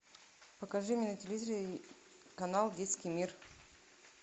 покажи мне на телевизоре канал детский мир